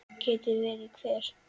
Geti verið hver?